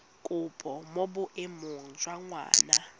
kopo mo boemong jwa ngwana